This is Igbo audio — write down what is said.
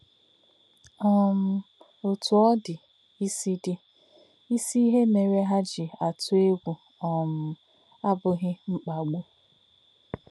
um Ọ̀tú̄ ọ́ dì̄, ísí̄ dì̄, ísí̄ íhè̄ mè̄rè̄ hà̄ jí̄ àtụ̄ ègwú̄ um àbụ̀ghí̄ mkpá̄gbù̄.